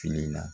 Fini na